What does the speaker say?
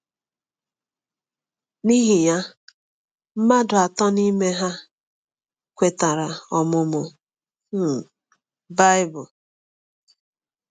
N’ihi ya, mmadụ atọ n’ime ha kwetara ọmụmụ um Baịbụl.